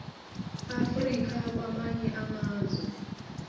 africa kwamanye amazwe